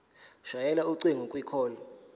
shayela ucingo kwicall